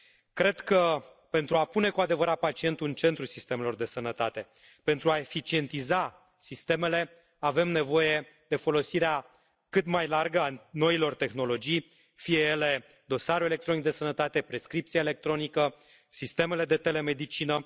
Cred că, pentru a pune cu adevărat pacientul în centrul sistemelor de sănătate, pentru a eficientiza sistemele, avem nevoie de folosirea cât mai largă a noilor tehnologii, fie ele dosarul electronic de sănătate, prescripția electronică, sistemele de telemedicină.